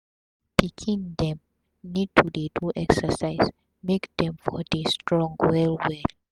pikin dem need to dey do exercise make dem for dey strong well well